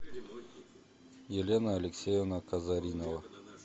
елена алексеевна казаринова